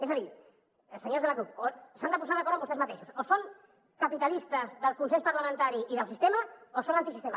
és a dir senyors de la cup s’han de posar d’acord amb vostès mateixos o són capitalistes del consens parlamentari i del sistema o són antisistema